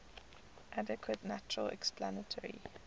adequate natural explanatory